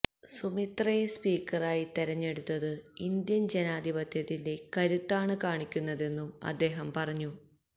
സുമിത്രയെ സ്പീക്കറായി തെരഞ്ഞടുത്തത് ഇന്ത്യന് ജനാധിപത്യത്തിന്റെ കരുത്താണ് കാണിക്കുന്നതെന്നും അദ്ദേഹം പറഞ്ഞു